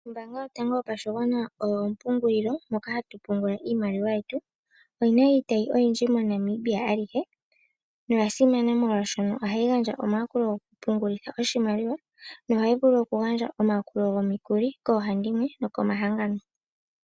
Ombaanga yotango yopashigwana oyo ompungililo moka hatu pungula iimaliwa yetu. Oyina iitayi oyindji mo Namibia alihe Oyasimana molwaashoka ohayi gandja omayakulo goku pungulitha oshimaliwa nohayi vulu okugandja omayakulo gomikuli koohandimwe nokomahangano.